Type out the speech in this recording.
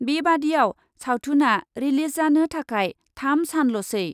बेबायदिआव सावथुनआ रिलिज जानो थाखाय थाम सानल'सै ।